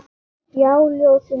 Já, ljósið mitt.